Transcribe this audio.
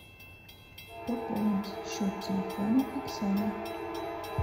пополнить счет телефона оксаны